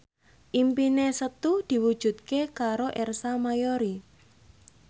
impine Setu diwujudke karo Ersa Mayori